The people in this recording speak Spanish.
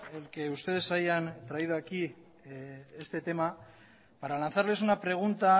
el que ustedes hayan traído aquí este tema para lanzarles una pregunta